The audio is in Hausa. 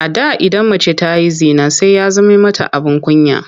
A da idan mace ta yi zina sai ya zame mata abin kunya.